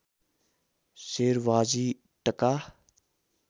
सेर भाजी टका